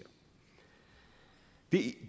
det